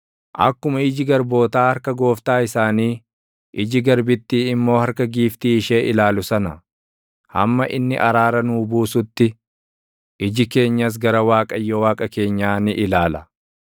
Akkuma iji garbootaa harka gooftaa isaanii, iji garbittii immoo harka giiftii ishee ilaalu sana, hamma inni araara nuu buusutti, iji keenyas gara Waaqayyo Waaqa keenyaa ni ilaala.